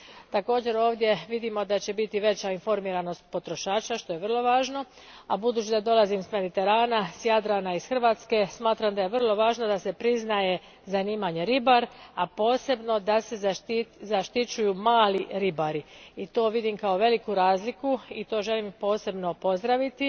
Također, ovdje vidimo da će biti veća informiranost potrošača, što je vrlo važno, a budući da dolazim s Mediterana, s Jadrana, iz Hrvatske, smatram da je vrlo važno da se priznaje zanimanje ribar, a posebno da se zaštićuju mali ribari i to vidim kao veliku razliku i to želim posebno pozdraviti